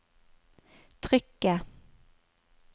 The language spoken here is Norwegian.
trykket